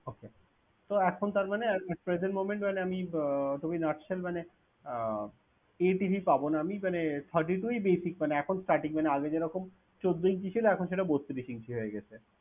Okay তো এখন তার মানে আর at present moment বলে আমি uh to be not sure মানে আহ এ TV পাব না আমি মানে thirty-two ই basic মানে এখন starting মানে আগে যেরকম চোদ্দ inch ছিল এখন সেটা বত্রিশ inch হয়ে গেছে